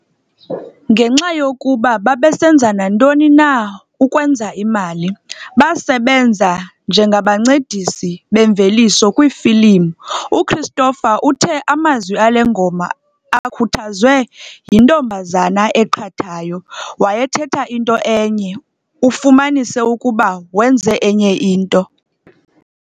Ngenxa yokuba "babesenza nantoni na ukwenza imali", basebenza njengabancedisi bemveliso kwiifilimu. UChristopher uthe amazwi ale ngoma akhuthazwe "yintombazana eqhathayo", "Wayethetha into enye ufumanise ukuba wenze enye into".